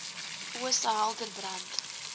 ooste helder brand